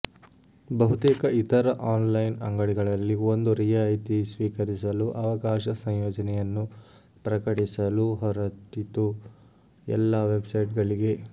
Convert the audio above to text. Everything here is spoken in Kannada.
ಬಹುತೇಕ ಇತರ ಆನ್ಲೈನ್ ಅಂಗಡಿಗಳಲ್ಲಿ ಒಂದು ರಿಯಾಯಿತಿ ಸ್ವೀಕರಿಸಲು ಅವಕಾಶ ಸಂಯೋಜನೆಯನ್ನು ಪ್ರಕಟಿಸಲು ಹೊರಟಿತು ಎಲ್ಲಾ ವೆಬ್ಸೈಟ್ಗಳಿಗೆ